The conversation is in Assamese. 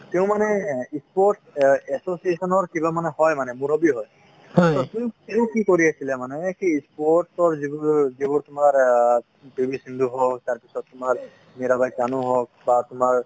তেওঁ মানে sports association ৰ কিবা হয় মানে মূৰব্বী হয় , তেওঁ কি কৰি আছিলে মানে সেই sports ৰ যিবোৰ যিবোৰ তোমাৰ অ পি ভি সিন্ধু হওঁক তাৰ পিছত তোমাৰ মিৰাবাই চানু হওঁক বা তোমাৰ